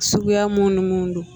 Suguya mun ni mun don